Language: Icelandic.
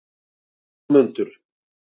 Jónmundur